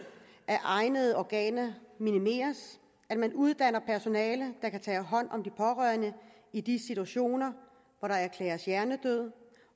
af egnede organer minimeres at man uddanner personale der kan tage hånd om de pårørende i de situationer hvor der erklæres hjernedød